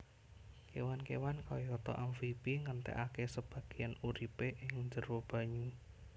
Kéwan kéwan kayata amfibi ngentèkaké sebagéyan uripé ing njero banyu